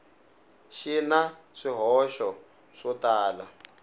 xi na swihoxo swo tala